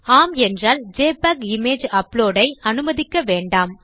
ஆம் என்றால் JPEG image upload ஐ அனுமதிக்க வேண்டாம்